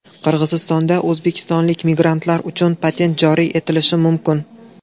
Qirg‘izistonda o‘zbekistonlik migrantlar uchun patent joriy etilishi mumkin.